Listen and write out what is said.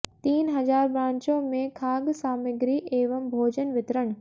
तीन हजार ब्रांचों में खाद्य सामिग्री एवं भोजन वितरण